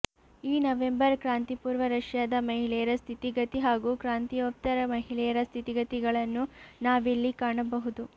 ಈ ನವೆಂಬರ್ ಕ್ರಾಂತಿಪೂರ್ವ ರಷ್ಯಾದ ಮಹಿಳೆಯರ ಸ್ಥಿತಿಗತಿ ಹಾಗೂ ಕ್ರಾಂತಿಯೋತ್ತರ ಮಹಿಳೆಯರ ಸ್ಥಿತಿಗತಿಗಳನ್ನು ನಾವಿಲ್ಲಿ ಕಾಣಬಹುದು